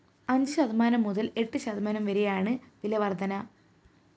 അഞ്ച് ശതമാനം മുതല്‍ എട്ട് ശതമാനം വരെയാണ് വില വര്‍ധന